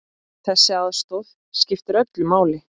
Þessi aðstoð skiptir öllu máli.